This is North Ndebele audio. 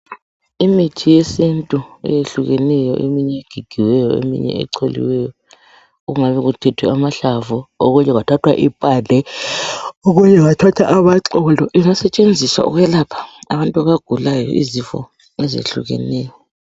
Imithi yesintu eyehlukeneyo eminye egigiweyo eminye echoliweyo, kungabe kuthethwe amahlamvu, okunye kuthwe impande, okunye kuthethwe amaxolo, ingasetshenziswa ukwelapha abantu abagulayo izifo ezihlukeneyo.